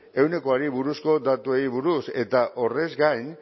ehunekoari buruzko datuei buruz eta horrez gain